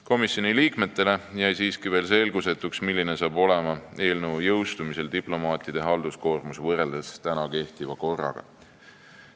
Komisjoni liikmetele jäi siiski veel selgusetuks, milline on eelnõu jõustumise korral diplomaatide halduskoormus võrreldes kehtiva korraga.